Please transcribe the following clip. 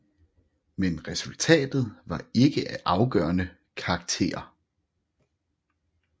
Men resultatet var ikke af afgørende karakter